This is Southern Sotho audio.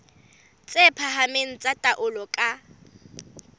tse phahameng tsa taolo ka